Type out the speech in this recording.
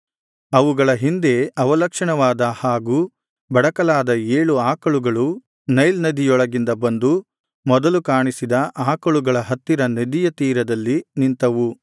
ಅವುಗಳ ಹಿಂದೆ ಅವಲಕ್ಷಣವಾದ ಹಾಗೂ ಬಡಕಲಾದ ಏಳು ಆಕಳುಗಳು ನೈಲ್ ನದಿಯೊಳಗಿಂದ ಬಂದು ಮೊದಲು ಕಾಣಿಸಿದ ಆಕಳುಗಳ ಹತ್ತಿರ ನದಿಯ ತೀರದಲ್ಲಿ ನಿಂತವು